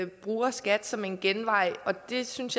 bruger skat som en genvej jeg synes